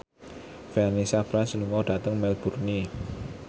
Vanessa Branch lunga dhateng Melbourne